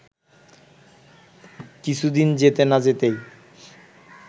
কিছুদিন যেতে না যেতেই